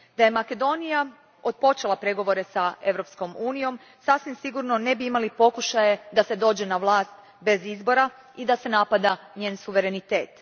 Da je Makedonija otpočela pregovore s EU om, sasvim sigurno ne bi imali pokušaje da se dođe na vlast bez izbora i da se napada njen suverenitet.